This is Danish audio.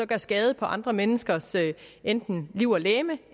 gør skade på andre menneskers enten liv og legeme